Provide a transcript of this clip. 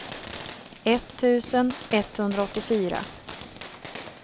etttusen etthundraåttiofyra